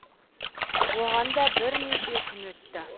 оған да бірнеше күн өтті